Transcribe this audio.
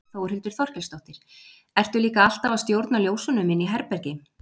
Þórhildur Þorkelsdóttir: Ertu líka alltaf að stjórna ljósunum inni í herbergi?